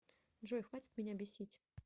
джой хватит меня бесить